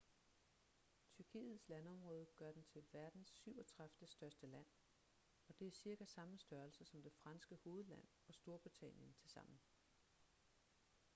tyrkiets landområde gør den til verdens 37. største land og det er cirka samme størrelse som det franske hovedland og storbritannien tilsammen